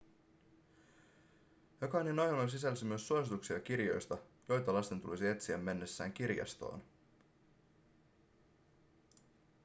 jokainen ohjelma sisälsi myös suosituksia kirjoista joita lasten tulisi etsiä mennessään kirjastoon